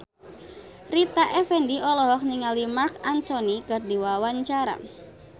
Rita Effendy olohok ningali Marc Anthony keur diwawancara